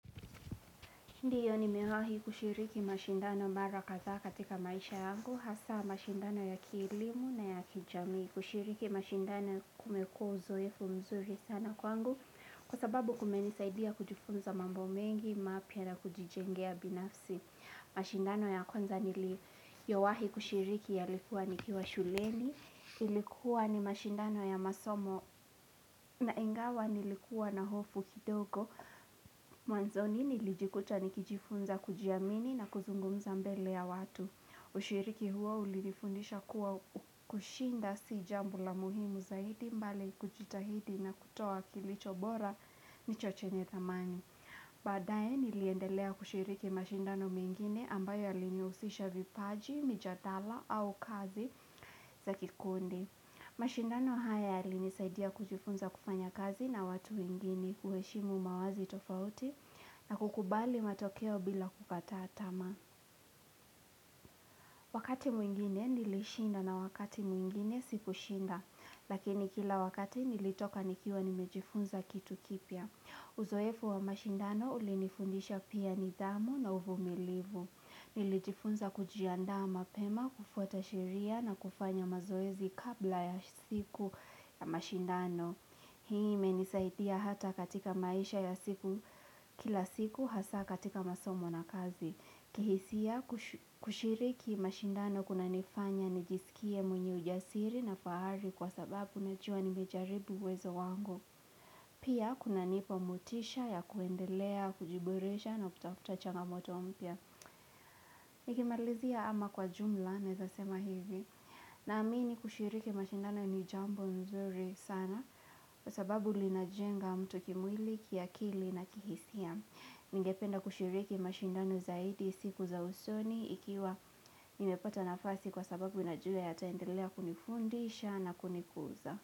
Ndiyo ni miwahi kushiriki mashindano mara kadhaa katika maisha yangu hasa mashindano ya kielimu na ya kijamii. Kushiriki mashindano kumekua uzoefu mzuri sana kwangu kwa sababu kumenisaidia kujifunza mambo mengi, mapya na kujijengea binafsi. Mashindano ya konza nili yowahi kushiriki ya likuwa ni kiwa shuleni Ilikuwa ni mashindano ya masomo na ingawa nilikuwa na hofu kidogo Mwanzoni nilijikuta nikijifunza kujiamini na kuzungumza mbele ya watu Ushiriki huo ulinifundisha kuwa kushinda si jambo la muhimu zaidi mbale kujitahidi na kutoa kilicho bora ndicho chenye thamani badaye niliendelea kushiriki mashindano mengine ambayo yaliniusisha vipaji, mijadala au kazi za kikundi mashindano hayari nisaidia kujifunza kufanya kazi na watu wengine. Kuheshimu mawazi tofauti na kukubali matokeo bila kukataa tamaa. Wakati mwingine nilishinda na wakati mwingine sikushinda, lakini kila wakati nilitoka nikiwa nimejifunza kitu kipya. Uzoefu wa mashindano ulinifundisha pia nidhamu na uvumilivu. Nilijifunza kujiandaa mapema, kufuata sheria na kufanya mazoezi kabla ya siku ya mashindano. Hii imenisaidia hata katika maisha ya siku kila siku hasa katika masomo na kazi. Kihisia kushiriki mashindano kunanifanya nijiskie mwenye ujasiri na faari kwa sababu nachua nimejaribu uwezo wango. Pia kuna nipa motisha ya kuendelea, kujiboresha na kutafuta changamoto mpya. Nikimalizia ama kwa jumla, neza sema hivi Naamini kushiriki mashindano ni jambo nzuri sana kwa sababu linajenga mtu kimwili, kiakili na kihisia. Ningependa kushiriki mashindano zaidi siku za usoni ikiwa nimepata nafasi kwa sababu najua yataendilea kunifundisha na kunikuza.